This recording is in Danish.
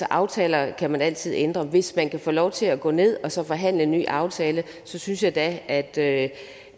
aftaler kan man altid ændre hvis man kan få lov til at gå ned og så forhandle en ny aftale synes jeg da at da